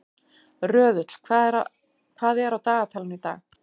Röðull, hvað er á dagatalinu í dag?